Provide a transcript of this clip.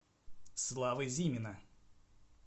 славы зимина